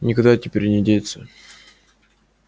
никуда теперь не деться